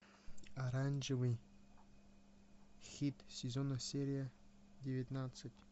оранжевый хит сезона серия девятнадцать